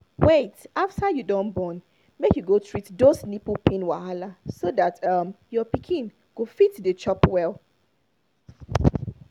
wait after you don born make you go treat those nipple pain wahala so that um your pikin go fit dey chop well